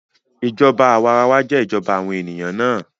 Ìjọba àwarawa jẹ́ ìjọba àwọn ènìyàn náà